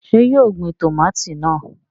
Ṣé yóò gbin tòmátì náà?